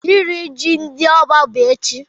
Iri ji ndị Oba bụ echi.